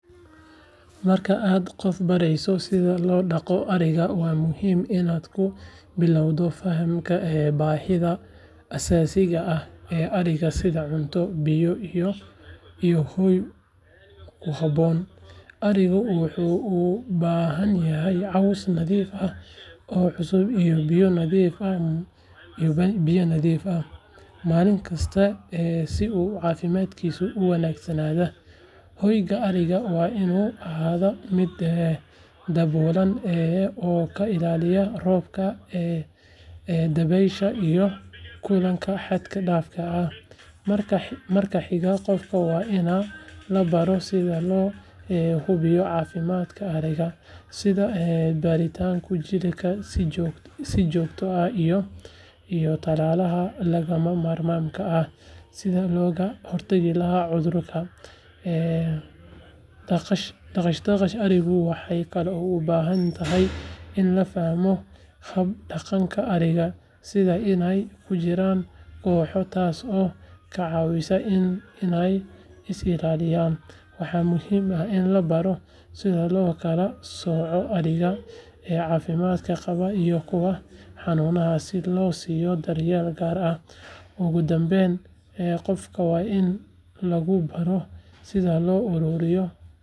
Marka aad qof barayso sida loo dhaqdo ariga, waa muhiim inaad ku bilowdo fahamka baahida aasaasiga ah ee ariga sida cunto, biyo, iyo hoy ku habboon. Arigu wuxuu u baahan yahay caws nadiif ah oo cusub iyo biyo nadiif ah maalin kasta si uu caafimaadkiisu u wanaagsan yahay. Hoyga ariga waa inuu ahaadaa mid daboolan oo ka ilaaliya roobka, dabaysha, iyo kulaylka xad dhaafka ah. Marka xiga, qofka waa in la baro sida loo hubiyo caafimaadka ariga, sida baaritaanka jirka si joogto ah iyo tallaalada lagama maarmaanka ah si looga hortago cudurada. Dhaqashada arigu waxay kaloo u baahan tahay in la fahmo hab dhaqanka ariga, sida inay ku jiraan kooxo, taasoo ka caawisa inay is ilaaliyaan. Waxaa muhiim ah in la baro sida loo kala sooco ariga caafimaadka qaba iyo kuwa xanuunsan si loo siiyo daryeel gaar ah. Ugu dambayn, qofka waa in lagu baro sida loo ururiyo.